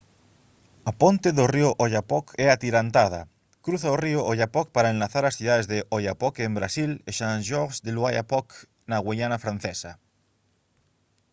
a ponte do río oyapock é atirantada cruza o río oyapock para enlazar as cidades de oiapoque en brasil e saint-georges de l'oyapock na güiana francesa